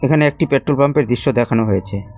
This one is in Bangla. এখানে একটি পেট্রোল পাম্পের দৃশ্য দেখানো হয়েছে।